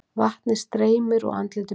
Vatnið streymir úr andliti mínu.